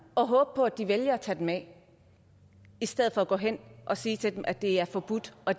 og håbe på at de vælger at tage den af i stedet for gå hen og sige til dem at det er forbudt og